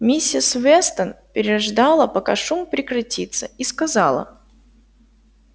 миссис вестон переждала пока шум прекратится и сказала